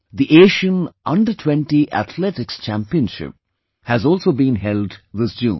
The Asian under Twenty Athletics Championship has also been held this June